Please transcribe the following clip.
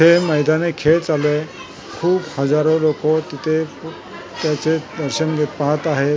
हे मैदानी खेळ चालू आहे खूप हजारों लोकं तिथे क त्याचे दर्शन घेत पाहत आहेत प--